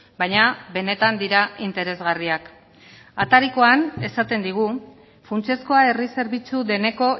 baina benetan dira interesgarriak atarikoan esaten digu funtsezkoa herri zerbitzu deneko